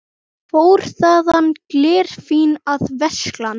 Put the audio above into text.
Fór þaðan glerfín að versla.